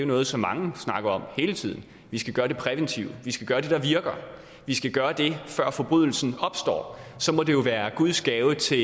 noget som mange snakker om hele tiden altså vi skal gøre det præventive vi skal gøre det der virker vi skal gøre det før forbrydelsen opstår så må det være guds gave til